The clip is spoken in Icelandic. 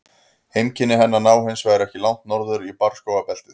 Heimkynni hennar ná hins vegar ekki langt norður í barrskógabeltið.